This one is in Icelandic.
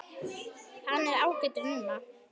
Hann er ágætur núna.